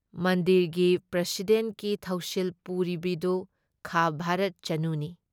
ꯃꯟꯗꯤꯔꯒꯤ ꯄ꯭ꯔꯁꯤꯗꯦꯟꯠꯀꯤ ꯊꯧꯁꯤꯜ ꯄꯨꯔꯤꯕꯤꯗꯨ ꯈꯥ ꯚꯥꯔꯠ ꯆꯅꯨꯅꯤ ꯫